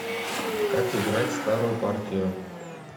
как играть старую партию